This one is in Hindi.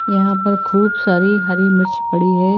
यहां पर खूब सारी हरी मिर्च पड़ी है।